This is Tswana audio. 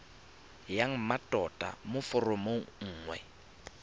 ya mmatota mo foromong nngwe